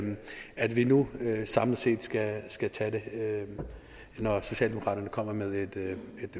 at vi nu samlet set skal skal tage det når socialdemokraterne kommer med et